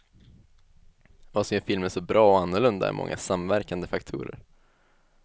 Vad som gör filmen så bra och annorlunda är många samverkande faktorer.